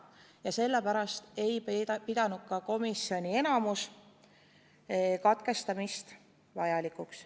Just sellepärast ei pidanud enamik komisjoni liikmeid katkestamist vajalikuks.